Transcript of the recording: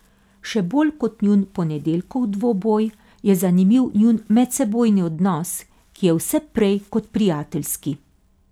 Še bolj kot njun ponedeljkov dvoboj, je zanimiv njun medsebojni odnos, ki je vse prej kot prijateljski.